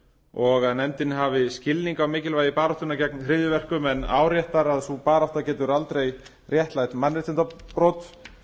og að nefndin hafi skilning á mikilvægi baráttunnar gegn hryðjuverkum en áréttar að sú barátta getur aldrei réttlætt mannréttindabrot